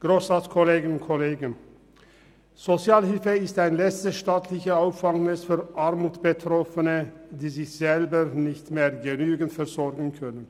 Die Sozialhilfe ist ein letztes staatliches Auffangnetz für Armutsbetroffene, die sich selber nicht mehr genügend versorgen können.